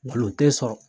tɛ sɔrɔ